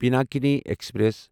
Pinakini express